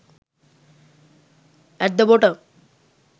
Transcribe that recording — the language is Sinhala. at the bottom